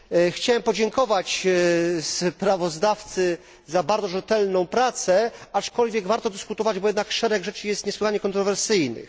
Chciałem podziękować sprawozdawcy za bardzo rzetelną pracę, aczkolwiek warto dyskutować, bo jednak szereg rzeczy jest niesłychanie kontrowersyjnych.